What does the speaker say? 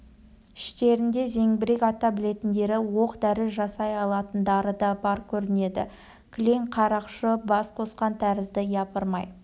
іштерінде зеңбірек ата білетіндері оқ-дәрі жасай алатындары да бар көрінеді кілең қарақшы бас қосқан тәрізді япырмай